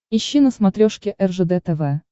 ищи на смотрешке ржд тв